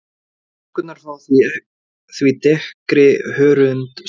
Stúlkurnar fá því dekkri hörundslit.